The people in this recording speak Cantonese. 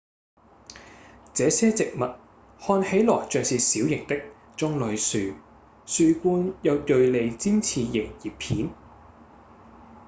這些植物看起來像是小型的棕櫚樹樹冠有銳利尖刺形葉片